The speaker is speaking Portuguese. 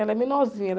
Ela é menorzinha.